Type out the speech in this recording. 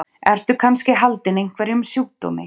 Ertu kannski haldinn einhverjum sjúkdómi?